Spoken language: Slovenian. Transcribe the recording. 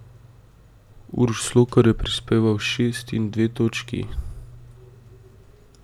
Uroš Slokar je prispeval šest in dve točki.